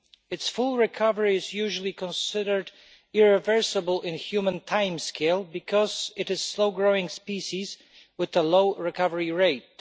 Its full recovery is usually considered irreversible in a human timescale because it is a slow-growing species with a low recovery rate.